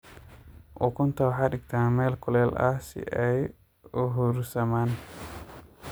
Ukunta waxaa digta meel kuleel aah si ay u huursaman.